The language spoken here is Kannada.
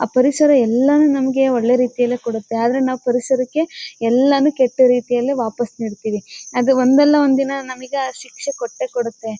ಆ ಪರಿಸರ ಎಲ್ಲಾನು ನಮಗೆ ಒಳ್ಳೆ ರೀತಿಯಲ್ಲಿ ಕೊಡುತ್ತೆ ಆದರೆ ನಾವು ಪರಿಸರಕ್ಕೆ ಎಲ್ಲಾನು ಕೆಟ್ಟ ರೀತಿಯಲ್ಲಿ ವಾಪಸು ನೀಡ್ತೀವಿ. ಅದು ಒಂದಲ್ಲ ಒಂದು ದಿನ ನಮಗೆ ಆ ಶಿಕ್ಷೆ ಕೊಟ್ಟೆ ಕೊಡುತ್ತೆ.